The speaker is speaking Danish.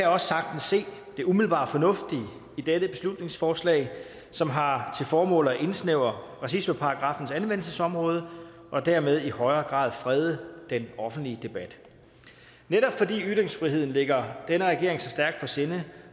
også sagtens se det umiddelbart fornuftige i dette beslutningsforslag som har til formål at indsnævre racismeparagraffens anvendelsesområde og dermed i højere grad frede den offentlige debat netop fordi ytringsfriheden ligger denne regering så stærkt på sinde